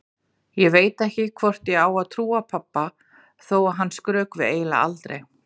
Ég veit ekki hvort ég á að trúa pabba þó að hann skrökvi eiginlega aldrei.